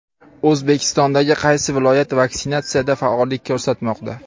O‘zbekistondagi qaysi viloyat vaksinatsiyada faollik ko‘rsatmoqda?.